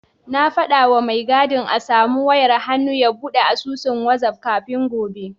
Na faɗawa mai gadin a samu wayar hannu ya buɗe asusun wazaf kafin gobe.